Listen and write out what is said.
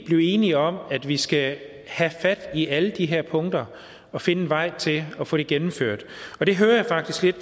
blive enige om at vi skal have fat i alle de her punkter og finde en vej til at få det gennemført det hører jeg faktisk lidt